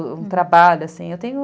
Um trabalho assim.